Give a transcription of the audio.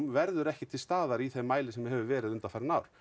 verður ekki til staðar í því mæli sem það hefur verið undanfarin ár